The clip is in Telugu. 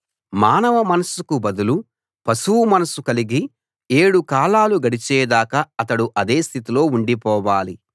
మానవ మనస్సుకు బదులు పశువు మనస్సు కలిగి ఏడు కాలాలు గడిచేదాకా అతడు అదే స్థితిలో ఉండిపోవాలి